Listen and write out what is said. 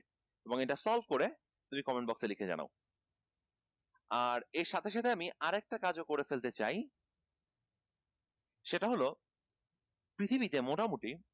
এবং এটা solve করে তুমি comment box এ লিখে জানাও আর এর সাথে সাথে আমি আরেক টা কাজ ও করে ফেলতে চাই সেটা হলো পৃথিবীতে মোটামুটি